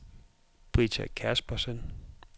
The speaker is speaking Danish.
Britta Kaspersen